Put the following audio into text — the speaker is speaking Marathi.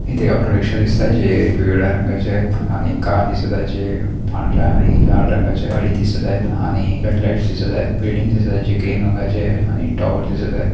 इथे ऑटोरिक्षा दिसत आहे जे पिवळ्या रंगाचे आहेत आणि कार दिसत आहे जे पांढऱ्या आणि लाल रंगाची गाडी दिसत आहे रेड-लाईट दिसत आहेत बिल्डिंग दिसत आहे जे पिवळ्या रंगाची आहे आणि टॉवर दिसत आहे.